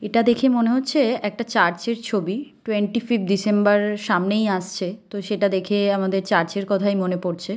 এটা দেখে মনে হচ্ছে একটা চার্চ -এর ছবি টুয়েন্টি ফিফ্ট ডিসেম্বর সামনেই আসছে তো সেটা দেখে আমাদের চার্চ -এর কথাই মনে পড়ছে।